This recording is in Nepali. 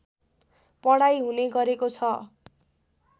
पढाइ हुने गरेको छ